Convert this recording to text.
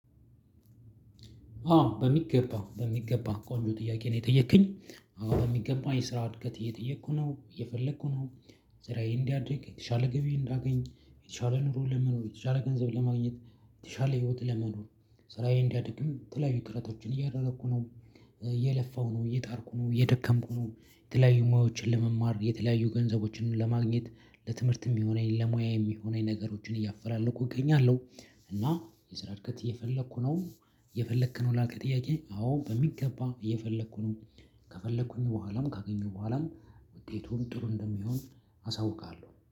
አዎ በሚገባ በሚገባ ቆንጆ ጥያቄ ነው የጠየከኝ አዎ በሚገባ የስራ እድገት እየጠየኩ ነው እየፈለኩ ነው። ስራዬ እንዲያድግ የተሻለ ገቢ እንዳገኝ የተሻለ ኑሮ ለመኖር የተሻለ ገንዘብ ለማግኘት የተሻለ ህይወት ለመኖር ስራዬን እንዲያድግም የተለያዩ ጥረቶችን እያደረኩ ነው። እየለፋሁ ነው እየጣርኩ ነው እየደከምኩ ነው የተለያዩ ሙያዎችን ለመማር የተለያዩ ገንዘቦችን ለማግኘት ለትምህርትም የሚሆነኝ ለሙያ የሚሆነኝ ነገሮችን እያፈላለኩ እገኛለሁ። እና የስራ እድገት እየፈለኩ ነው። እየፈለክ ነው ላልከኝ ጥያቄ አዎ በሚገባ እየፈለኩ ነው። ከፈለኩኝ በኋላም ካገኙ በኋላም ውጤቱን ጥሩ እንደሚሆን አሳውቃለሁ